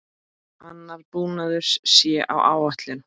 Annar búnaður sé á áætlun.